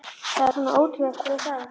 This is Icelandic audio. Hvað er svona ótrúlegt við það?